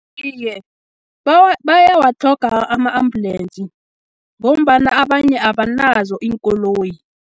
Iye, bayawatlhoga ama-ambulensi, ngombana abanye abanazo iinkoloyi.